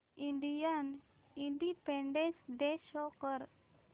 Indian independence day show कर